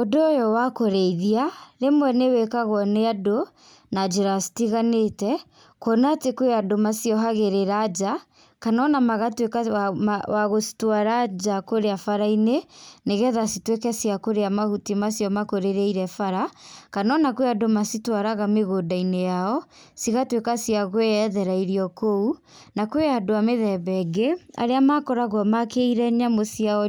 Ũndũ ũyũ wa kũrĩithia, rĩmwe nĩ wĩkagwo nĩ andũ, na njĩra citiganĩte, kuona atĩ kwĩ andũ maciohagĩrĩra nja, kana ona magatuĩka wa gũcitwara nja kũrĩa barainĩ, nĩgetha cituĩke cia kũrĩa mahuti macio makũrĩrĩire bara, kana ona kwĩna andũ macitwaraga mĩgũnda-inĩ yao, cigatuĩka cia kwĩethera irio kũu. Na kwĩ andũ a mĩthemba ĩngĩ, arĩa makoragwo makĩire nyamũ ciao